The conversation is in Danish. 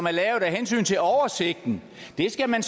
er lavet af hensyn til oversigten det skal man